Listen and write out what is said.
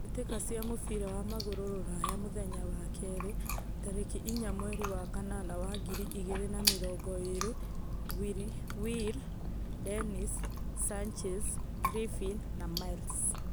Mbitika cia mũbira wa magũrũ Rũraya mũthenya wa kĩrĩ, tarekĩ inya mweri wa kanana wa ngiri igĩrĩ na mĩrongo ĩĩrĩ: Will, Dennis, Sanchez, Griffin, Miles